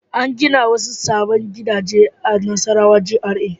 An gina wasu sabbin gidaje a Nassarawa GRA.